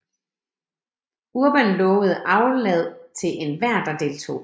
Urban lovede aflad til enhver der deltog